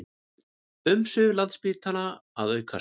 Umsvif Landspítala að aukast